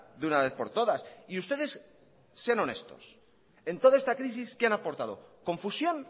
de una vez por todas y ustedes sean honestos en toda esta crisis qué han aportado confusión